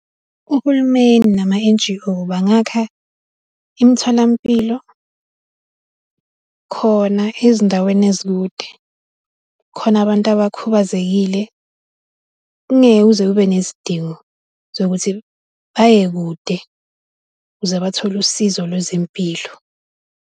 Uhulumeni nama-N_G_O bangakha imitholampilo, khona ezindaweni ezikude khona abantu abakhubazekile, kungeke kuze kube nesidingo sokuthi baye kude ukuze bathole usizo lwezempilo.